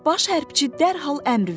Baş hərbiçi dərhal əmr verdi.